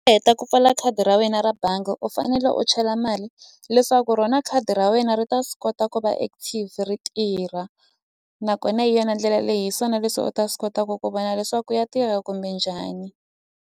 Heta ku pfala khadi ra wena ra bangi u fanele u chela mali leswaku rona khadi ra wena ri ta swi kota ku va active ri tirha nakona hi yona ndlela leyi hi swona leswi u ta swi kotaku ku vona leswaku ya tirha kumbe njhani.